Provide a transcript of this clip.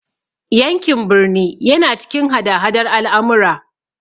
Yankin birni yana cikin hada hadar al'amura.